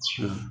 Su